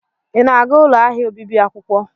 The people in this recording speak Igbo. Ị na-aga ụlọ ahịa obibi akwụkwọ?